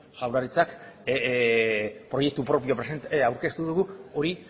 jaurlaritzak proiektu propioa aurkeztu dugu hori